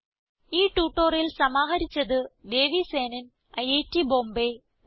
ഈ ട്യൂട്ടോറിയൽ സമാഹരിച്ചത് ദേവി സേനൻ ഐറ്റ് ബോംബേ നന്ദി